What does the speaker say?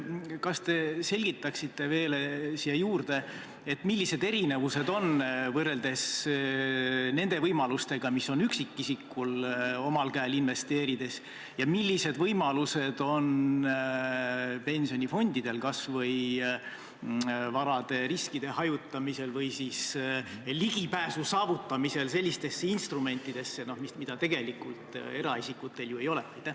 Kas te selgitaksite veel neid erinevusi, mis üksikisikul on omal käel investeerides olevate võimaluste ja nende võimaluste vahel, mis on pensionifondidel kas või varade riskide hajutamisel või ligipääsu saavutamisel sellistele instrumentidele, millele eraisikul tegelikult ligipääsu ei ole?